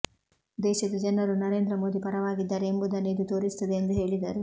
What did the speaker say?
ದೇಶದ ಜನರು ನರೇಂದ್ರ ಮೋದಿ ಪರವಾಗಿದ್ದಾರೆ ಎಂಬುದನ್ನು ಇದು ತೋರಿಸುತ್ತದೆ ಎಂದು ಹೇಳಿದರು